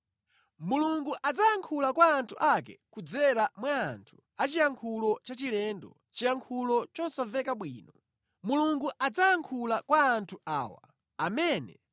Mulungu adzayankhula kwa anthu ake kudzera mwa anthu aziyankhulo zachilendo, ziyankhulo zosamveka bwino. Mulungu adzayankhula kwa anthu awa, amene